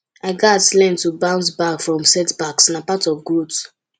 i gats learn to bounce back from setbacks na part of growth